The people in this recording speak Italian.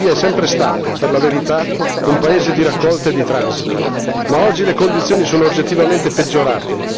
La Libia è sempre stata per la verità un paese di raccolta e di transito, ma oggi le condizioni sono oggettivamente peggiorate.